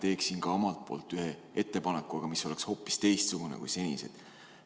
Teeksin ka omalt poolt ühe ettepaneku, aga see oleks hoopis teistsugune kui senised.